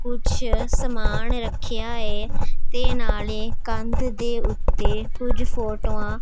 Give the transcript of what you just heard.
ਕੁਛ ਸਮਾਨ ਰੱਖਿਆ ਏ ਤੇ ਨਾਲੇ ਕੰਧ ਦੇ ਓੱਤੇ ਕੁਝ ਫੋਟੋਆਂ --